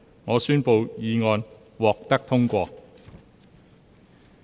我宣布議案獲得通過。